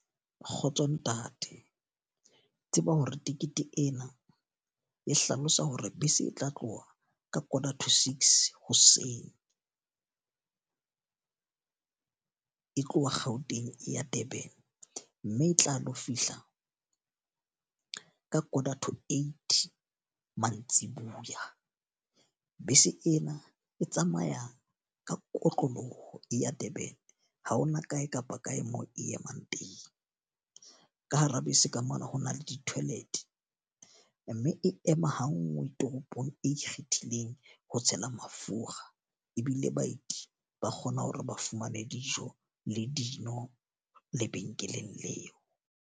Kgotso ntate, tseba hore tikete ena e hlalosa hore bese e tla tloha ka quarter to six hoseng. E tloha Gauteng e ya Durban. Mme e tla lo fihla ka quarter to eight mantsibuya. Bese ena e tsamaya ka kotloloho e ya Durban. Ha hona kae kapa kae moo e emang teng. Ka hara bese ka mona ho na le di-toilet. Mme e ema ha nngwe toropong e ikgethileng ho tshela mafura ebile baeti ba kgona hore ba fumane dijo le dino lebenkeleng leo.